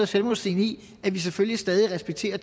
selvmodsigende i at vi selvfølgelig stadig respekterer